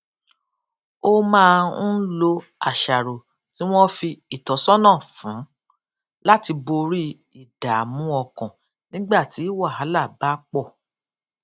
ó máa ń lo àṣàrò tí wón fi ìtósónà fún láti borí ìdààmú ọkàn nígbà tí wàhálà bá pò